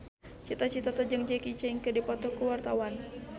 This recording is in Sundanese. Cita Citata jeung Jackie Chan keur dipoto ku wartawan